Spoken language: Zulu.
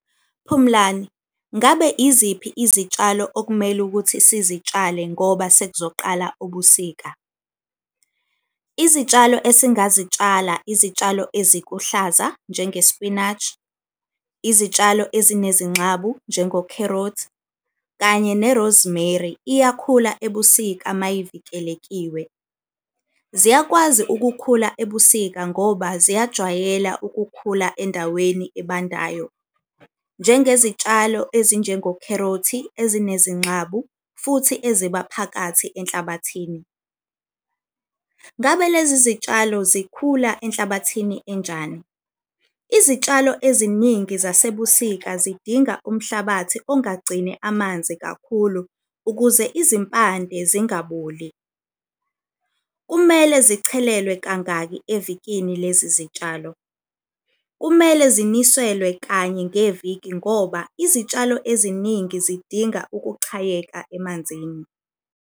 Phumlani, ngabe iziphi izitshalo okumele ukuthi sizitshale ngoba sekuzoqala ubusika? Izitshalo esingazitshala izitshalo ezikuhlaza njenge-spinach, izitshalo ezinezingxabu njengokherothi, kanye ne-rosemary iyakhula ebusika mayivikelekiwe. Ziyakwazi ukukhula ebusika ngoba ziyajwayela ukukhula endaweni ebandayo. Njengezitshalo ezinjengokherothi ezinezingxabu futhi eziba phakathi enhlabathini. Ngabe lezi zitshalo zikhula enhlabathini enjani? Izitshalo eziningi zasebusika zidinga umhlabathi okungagcini amanzi kakhulu ukuze izimpande zingaboli. Kumele zichelelwe kangaki evikini lezi zitshalo? Kumele ziniselwe kanye ngeviki ngoba izitshalo eziningi zidinga ukuchayeka emanzini.